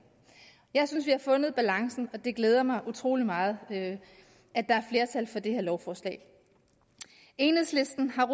jeg synes vi har fundet balancen og det glæder mig utrolig meget at der er flertal for det her lovforslag enhedslisten har